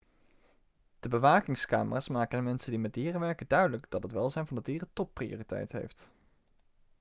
'de bewakingscamera's maken de mensen die met dieren werken duidelijk dat het welzijn van de dieren topprioriteit heeft.'